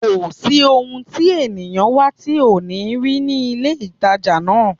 Kò sí ohun tí èèyàn ń wá tí ò ní rí ní ilé-ìtàjà náà